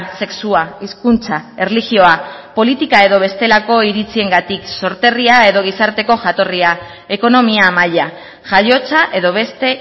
sexua hizkuntza erlijioa politika edo bestelako iritziengatik sorterria edo gizarteko jatorria ekonomia maila jaiotza edo beste